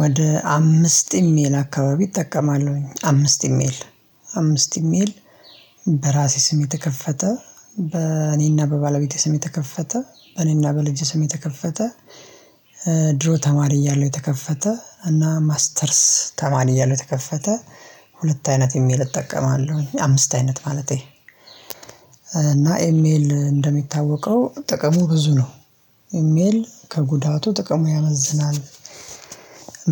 ወደ አምስት ኢሜል አካባቢ እጠቀማለሁኝ አምስት ኢሜል አምስት ኢሜል በራሴ ስም የተከፈተ በእኔና በባለቤቴ ስም የተከፈተ በእኔና በልጅ ስም የተከፈተ ድሮ ተማሪ እያለው የተከፈተ እና ማስተርስ ተማሪ እያለው የተከፈተ ሁለት አይነት ኢሜል እጠቀማለሁ አምስት አይነት ማለቴ እና ኢሜል እንደሚታወቀው ጥቅሙ ብዙ ነው። ኢሜል ከጉዳቱ ጥቅሙ ያመዝናል።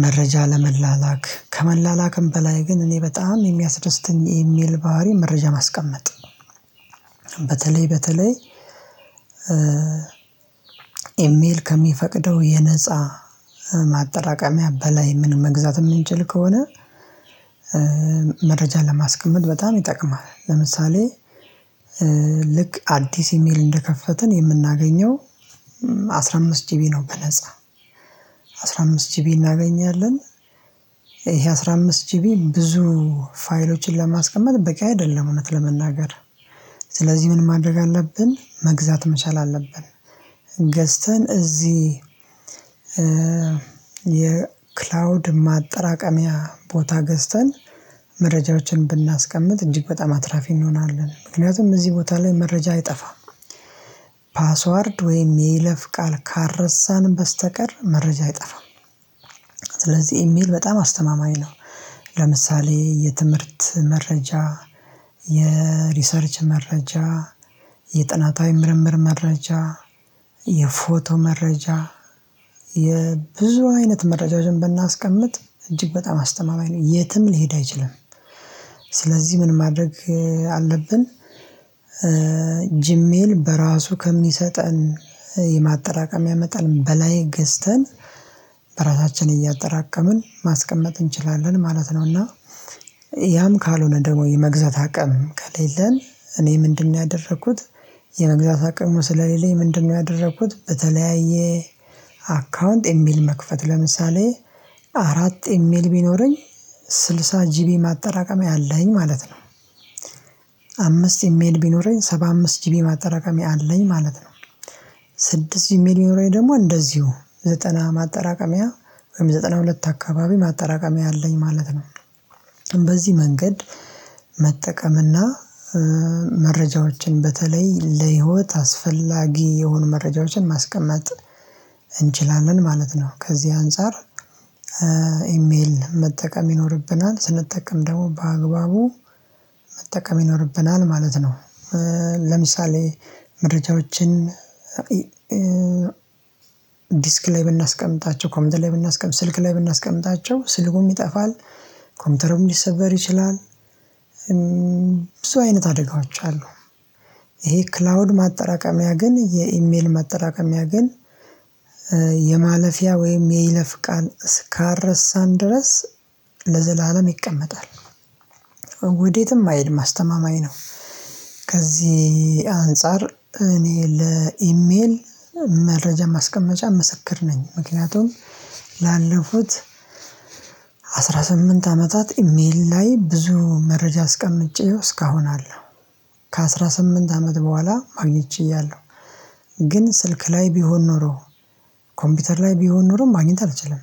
መረጃ ለመላላክ ከመላላክም በላይ ግን እኔ በጣም የሚያስደስትን የሚል ባህሪ መረጃ ማስቀመጥ። በተለይ በተለይ ኢሜል ከሚፈቅደው የነፃ ማጠራቀሚያ በላይ ምን መግዛት የምንችል ከሆነ። መረጃ ለማስገመድ በጣም ይጠቅማል። ለምሳሌ ልክ አዲስ ኢሜል እንደከፈትን የምናገኘው አስራ አምስት ጂቢ ነው በነፃ አስራ አምስት ጂቢ እናገኛለን። ይሄ አስራ አምስት ጂቢ ብዙ ፋይሎችን ለማስቀመጥ በቂ አይደለም እውነት ለመናገር። ስለዚህ ምን ማድረግ አለብን መግዛት መቻል አለብን። ገዝተን እዚህ የክላውድ ማጠራቀሚያ ቦታ ገዝተን መረጃችን ብናስቀምጥ እንዲህ በጣም አትራፊ እንሆናለን ምክንያቱም እዚህ ቦታ ላይ መረጃ አይጠፋም። ፓስዋርድ ወይም የለፍ ቃል ካረሳን በስተቀር መረጃ አይጠፋም። ስለዚህ ኢሜል በጣም አስተማማኝ ነው። ለምሳሌ የትምህርት መረጃ የሪሰርች መረጃ የጥናታዊ ምርምር መረጃ የፎቶ መረጃ የብዙ አይነት መረጃ ዝም ብናስቀምጥ እጅግ በጣም አስተማማኝ ነው የትም ሊሄድ አይችልም። ስለዚህ ምን ማድረግ አለብን? ጂሜል በራሱ ከሚሰጠን የማጠራቀም ያመጣል በላይ ገዝተን በራሳችን እያጠራቀምን ማስቀመጥ እንችላለን ማለት ነው። እና ያም ካልሆነ ደግሞ የመግዛት አቅም ከሌለን እኔ ምንድነው ያደረኩት? የመግዛት አቅሙ ስለሌለኝ ምንድነው ያደረኩት? በተለያየ አካውንት የሚል መክፈት ለምሳሌ አራት ኢሜል ቢኖረኝ ስልሳ ጂቢ ማጠራቀሚያ አለኝ ማለት ነው። አምስት ኢሜል ቢኖረኝ ሰባ አምስት ጂቢ ማጠራቀሚያ አለኝ ማለት ነው። ስድስት ሚሊዮኔ ደግሞ እንደዚሁ ዘጠና ማጠራቀሚያ ወይም ዘጠና ሁለት አካባቢ ማጠራቀሚያ አለኝ ማለት ነው። በዚህ መንገድ መጠቀምና መረጃዎችን በተለይ ለህይወት አስፈላጊ የሆኑ መረጃዎችን ማስቀመጥ እንችላለን ማለት ነው ከዚህ አንፃር። ኢሜል መጠቀም ይኖርብናል ስንጠቀም ደግሞ በአግባቡ መጠቀም ይኖርብናል ማለት ነው። ለምሳሌ መረጃዎችን ዲስክ ላይ ብናስቀምጣቸው ኮምፒተር ላይ ብናስቀምጥ ስልክ ላይ ብናስቀምጣቸው ስልኩም ይጠፋል ኮምፒውተሩም ሊሰበር ይችላል። ብዙ አይነት አደጓጋዎች አሉ። ይሄ ክላውድ ማጠራቀሚያ ግን የኢሜል ማጠራቀሚያ ግን የማለፊያ ወይም የይለፍ ቃል እስካረሳን ድረስ ለዘላለም ይቀመጣል። ወዴትም አይሄድም አስተማማኝ ነው። ከዚህ አንፃር እኔ ለኢሜል መረጃ ማስቀመጫ ምስክር ነኝ ምክንያቱም ላለፉት አስራ ስምንት አመታት ኢሜል ላይ ብዙ መረጃ አስቀምጬው እስካሁን አለ። ከአስራ ከአሥራ ስምንት አመት በኋላ አግኝቼያለሁ። ግን ስልክ ላይ ቢሆን ኖሮ ኮምፒውተር ላይ ቢሆን ኖሮ ማግኘት አልችልም።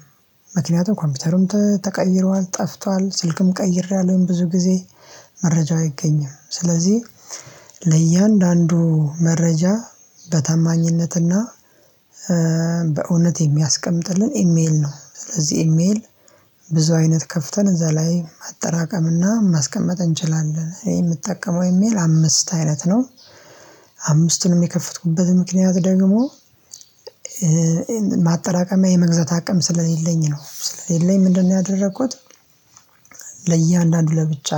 ምክንያቱም ኮምፒውተርም ተቀይረዋል ጠፍቷል ስልክም ቀይሬያለሁኝ ብዙ ጊዜ መረጃ አይገኝም ስለዚህ ለእያንዳንዱ መረጃ በታማኝነትና በእውነት የሚያስቀምጥልን ኢሜል ነው። ስለዚህ ኢሜል ብዙ አይነት ከፍተን እዛ ላይ ማጠራቀም እና ማስቀመጥ እንችላለን የምትጠቀመው እሜል አምስት አይነት ነው። አምስቱንም የከፈትኩበት ምክንያት ደግሞ ማጠራቀሚያ የመግዛት አቅም ስለሌለኝ ነው ስለሌለኝ ምንድነው ያደረኩት? ለእያንዳንዱ ለብቻ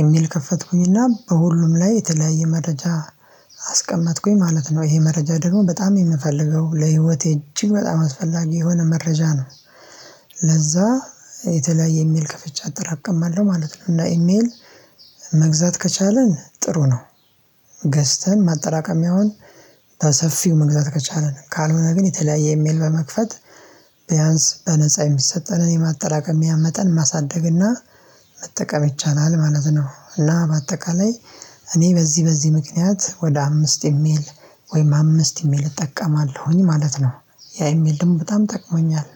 የሚል ከፈትኩኝና በሁሉም ላይ የተለያየ መረጃ አስቀመጥኩኝ ማለት ነው። ይሄ መረጃ ደግሞ በጣም የምፈልገው ለህይወቴ እጅግ በጣም አስፈላጊ የሆነ መረጃ ነው። ለዛ የተለያየ ኢሜል ከፍቼ አጠራቀማለሁ ማለት ነው። እና ኢሜል መግዛት ከቻልን ጥሩ ነው። ገዝተን ማጠራቀሚያውን በሰፊው መግዛት ከቻለን ካልሆነ ግን የተለያየ የሚል በመክፈት ቢያንስ በነፃ የሚሰጠንን የማጠራቀም ያመጠን ማሳደግና መጠቀም ይቻላል ማለት ነው። እና በአጠቃላይ እኔ በዚህ በዚህ ምክንያት ወደ አምስት የሚል ወይም አምስት ኢሜል እጠቀማለሁኝ ማለት ነው። ያ ኢሜል ድምጽ በጣም ጠቅሞኛል።